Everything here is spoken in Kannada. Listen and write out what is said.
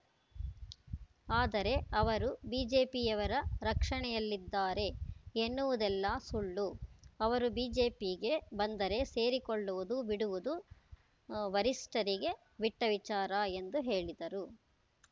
ಆದರೆ ಅವರು ಬಿಜೆಪಿಯವರ ರಕ್ಷಣೆಯಲ್ಲಿದ್ದಾರೆ ಎನ್ನುವುದೆಲ್ಲ ಸುಳ್ಳು ಅವರು ಬಿಜೆಪಿಗೆ ಬಂದರೆ ಸೇರಿಸಿಕೊಳ್ಳುವುದು ಬಿಡುವುದು ವರಿಷ್ಠರಿಗೆ ಬಿಟ್ಟವಿಚಾರ ಎಂದು ಹೇಳಿದರು